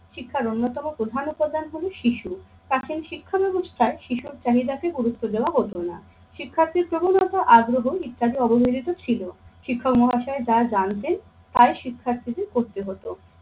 শিক্ষার অন্যতম প্রধান উপাদান হলো শিশু। কাছেই শিক্ষা ব্যাবস্থায় শিশুর চাহিদাকে গুরুত্ব দেওয়া হতো না। শিক্ষার্থীর প্রবণতা আগ্রহ ইত্যাদি অবহেলিত ছিল। শিক্ষক মহাশয় তা জানতেন তাই শিক্ষার্থীদের করতে হতো।